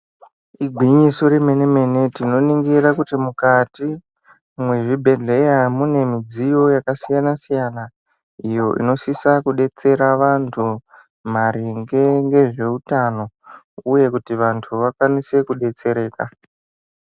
Igwinyiso remene mene tinoningira kuti mukati mwezvibhedhlera mune midziyo yakasiyana siyana iyo inosisa kudetsera vantu maringe ngezveutano uye kuti vantu vakwanise kudetsereka .